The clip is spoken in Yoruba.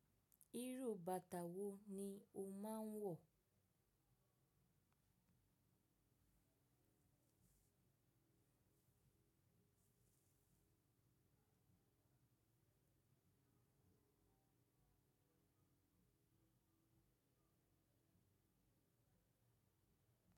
Irú bàtà wo ni o máa ń wọ̀?